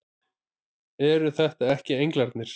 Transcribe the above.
Eru þetta ekki englarnir!